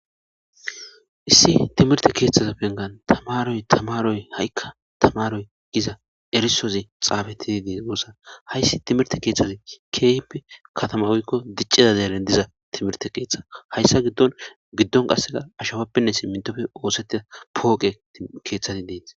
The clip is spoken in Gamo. issi timirte keeththaza pengan tamaroy tamaroy ha7ikka tamaroy giza erisozi xaabetidi goosa hayssi timirte keeththazi keehppe katama oykko diccida deelen diza timirte keeththa hayssa giddon giddon qasseka ashapappenne si mintofe oosettida pooqe keeththati dees